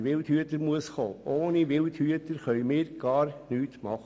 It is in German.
Ohne Wildhüter können wir nichts tun.